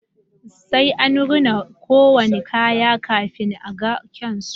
Sai an rina ko wani kaya kafin a ga kyun su